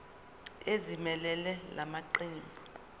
ezimelele la maqembu